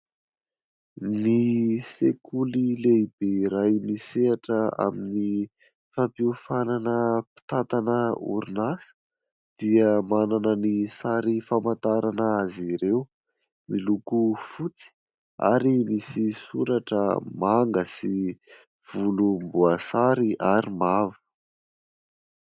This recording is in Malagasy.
Ny sekoly lehibe iray nisehatra amin'ny fampiofanana mpitantana orinasa, dia manana ny sary famantarana azy ireo, miloko fotsy ary misy soratra manga sy volomboasary ary mavo.